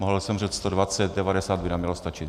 Mohl jsem říct 120, 90 by nám mělo stačit.